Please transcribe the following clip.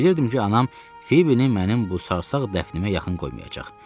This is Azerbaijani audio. Bilirdim ki, anam Fibini mənim bu sarsaq dəfnimə yaxın qoymayacaq.